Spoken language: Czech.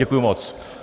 Děkuji moc.